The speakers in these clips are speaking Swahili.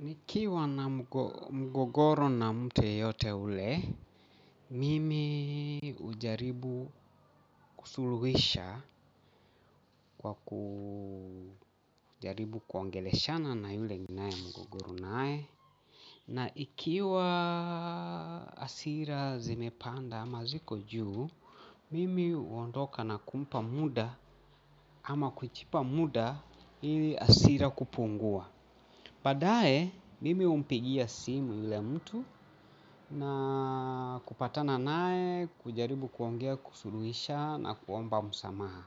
Nikiwa na mgogoro na mtu yeyote ule, mimi ujaribu kusuluhisha kwa kujaribu kuongeleshana na yule ninaye mgogoro naye. Na ikiwa hasira zimepanda ama ziko juu, mimi uondoka na kumpa muda ama kujipa muda ili hasira kupungua. Badae, mimi humpigia simu yule mtu na kupatana nae kujaribu kuongea kusuluisha na kuomba msamaha.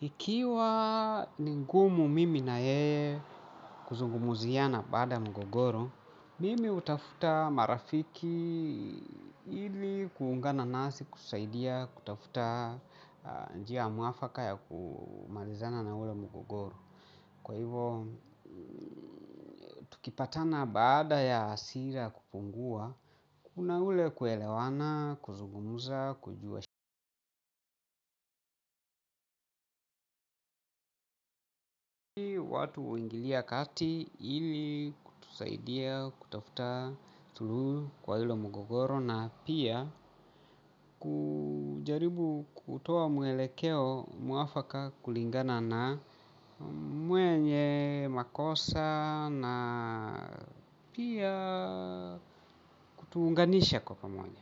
Ikiwa ningumu mimi na yeye kuzungumuziana baada ya mgogoro, mimi hutafuta marafiki ili kuungana nasi, kutusaidia, kutafuta njia mwafaka ya kumalizana na ule mgogoro. Kwa hivo, tukipatana baada ya hasira kupungua, kuna ule kuelewana, kuzugumuza, kujua watu huingilia kati ili kutusaidia, kutafuta suluhu kwa hilo mgogoro na pia kujaribu kutoa mwelekeo mwafaka kulingana na mwenye makosa na pia kutuunganisha kwa pamoja.